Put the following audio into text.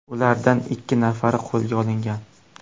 Ulardan ikki nafari qo‘lga olingan.